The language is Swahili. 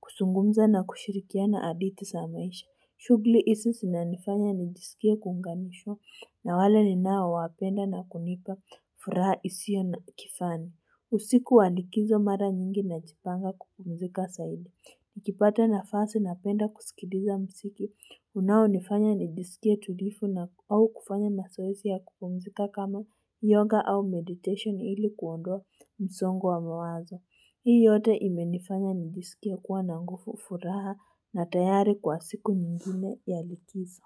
kuzungumza na kushirikiana hadithi za maisha shughuli hizi zinanifanya nijisikie kuunganishwa na wale ninaowapenda na kunipa furaha isiyo na kifani. Usiku wa likizo mara nyingi najipanga kupumzika zaidi. Nikipata nafasi napenda kusikiliza mziki unaonifanya nijisikie tulivu au kufanya mazoezi ya kupumzika kama yoga au meditation ili kuondoa msongo wa mawazo. Hii yote imenifanya nijisikie kuwa na nguvu furaha na tayari kwa siku nyingine ya likizo.